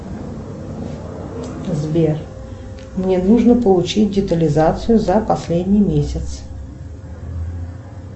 сбер мне нужно получить детализацию за последний месяц